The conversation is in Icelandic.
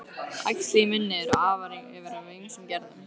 Æxli í munni eru af ýmsum gerðum.